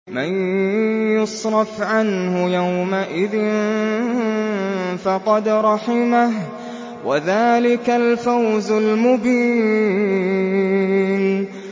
مَّن يُصْرَفْ عَنْهُ يَوْمَئِذٍ فَقَدْ رَحِمَهُ ۚ وَذَٰلِكَ الْفَوْزُ الْمُبِينُ